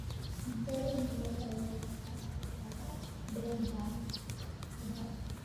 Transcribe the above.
Intee in le'eg ayaa taraafikada denver hadda?